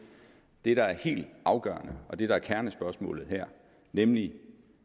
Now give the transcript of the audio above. det der er helt afgørende og det der er kernespørgsmålet her nemlig